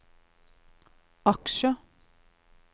aksjer